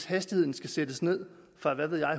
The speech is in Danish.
hastigheden sættes ned fra en